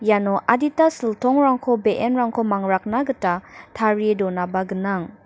iano adita siltongrangko be·enrangko mangrakna gita tarie donaba gnang.